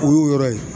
O y'o yɔrɔ ye